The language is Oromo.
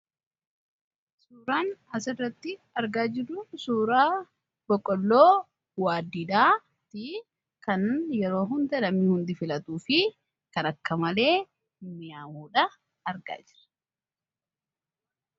suuraan as irratti argaa jiru suuraa boqqolloo waaddiidha, kan yeroo hundaa hundi filatuu fi kan akka malee miyaa'u argaa jira.